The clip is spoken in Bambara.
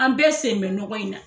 An bɛɛ sen bɛ nɔgɔya in na.